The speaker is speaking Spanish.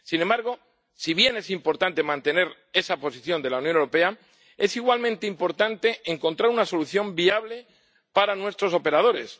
Sin embargo, si bien es importante mantener esa posición de la Unión Europea, es igualmente importante encontrar una solución viable para nuestros operadores.